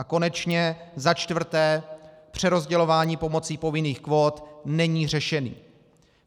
A konečně za čtvrté, přerozdělování pomocí povinných kvót není řešením.